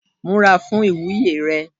Múra fún ìwúyè rẹ